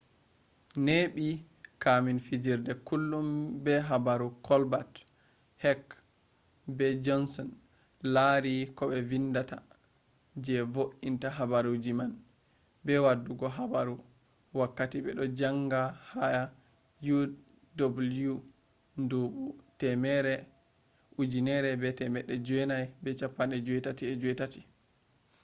neɓi kamin fijirde kullum be habaru kolbat hek be jonson lari ko vindata je vointa habaruji man –be waddugo habaru—wakkati beɗo janga ha uw nduɓu 1988